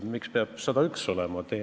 Miks peab 101 olema?